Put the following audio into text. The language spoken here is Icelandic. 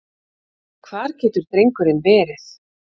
Hvar getur drengurinn verið?